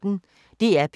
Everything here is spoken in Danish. DR P1